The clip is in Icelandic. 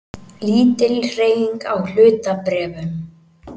Lítil hreyfing á hlutabréfum